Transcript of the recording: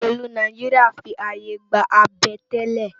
Óṣélú Náijiriá fi áyé gbá àbẹ̀tẹ́lẹ̀